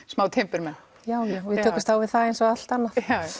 smá timburmenn já já við tökumst á við það eins og allt annað